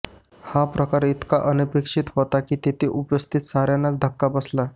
हा प्रकार इतका अनपेक्षित होता की तेथे उपस्थित साऱ्यांनाच धक्का बसला